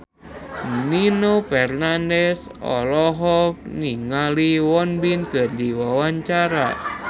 Nino Fernandez olohok ningali Won Bin keur diwawancara